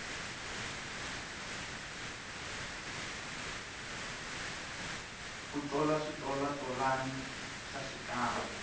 ku tola switolatolani swa xikandza